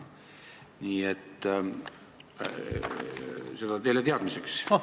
Nii palju teile teadmiseks.